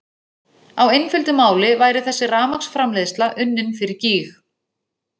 Á einföldu máli væri þessi rafmagnsframleiðsla unnin fyrir gýg!